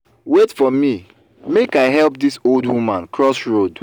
wait for me make i help dis old woman cross road